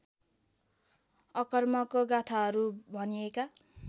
अकर्मको गाथाहरू भनिएका